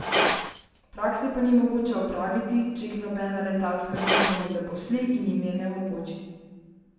Prakse pa ni mogoče opraviti, če jih nobena letalska družba ne zaposli in jim je ne omogoči.